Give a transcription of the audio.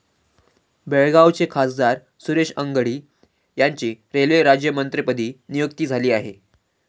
बेळगावचे खासदार सुरेश अंगडी यांची रेल्वे राज्यमंत्रीपदी नियुक्ती झाली आहे.